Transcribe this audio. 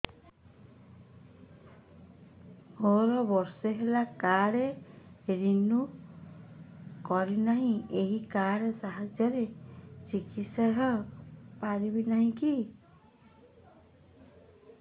ମୋର ବର୍ଷେ ହେଲା କାର୍ଡ ରିନିଓ କରିନାହିଁ ଏହି କାର୍ଡ ସାହାଯ୍ୟରେ ଚିକିସୟା ହୈ ପାରିବନାହିଁ କି